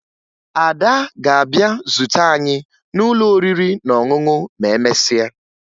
Ada ga-abịa zute anyị n'ụlọ oriri na ọṅụṅụ ma emesịa